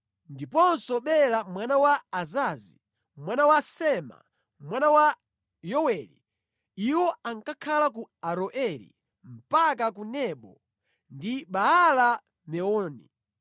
ndiponso Bela mwana wa Azazi, mwana wa Sema, mwana wa Yoweli. Iwo ankakhala ku Aroeri mpaka ku Nebo ndi Baala-Meoni.